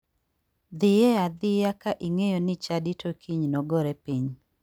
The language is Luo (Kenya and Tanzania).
Dhie adhiya ka ing'eyo ni chadi to kiny nogore piny.